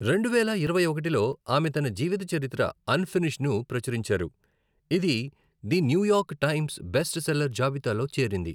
రెండువేల ఇరవై ఒకటిలో, ఆమె తన జీవిత చరిత్ర అన్ఫినిష్డ్ను ప్రచురించారు, ఇది the New York Times best seller జాబితాలో చేరింది.